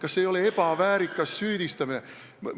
Kas see ei ole ebaväärikas süüdistamine?